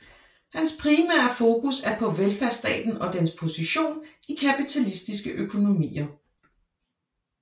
Hans primære fokus er på velfærdsstaten og dens position i kapitalistiske økonomier